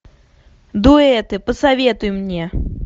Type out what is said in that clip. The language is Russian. дуэты посоветуй мне